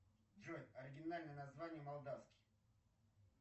джой оригинальное название молдавский